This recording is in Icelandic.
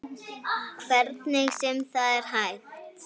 Hvernig sem það er hægt.